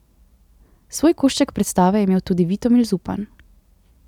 Svoj košček predstave je imel tudi Vitomil Zupan.